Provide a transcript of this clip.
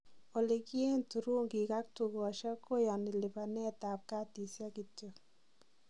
olikieen thurungik ak tukosiek koyaani lipanet ab katisiek kityo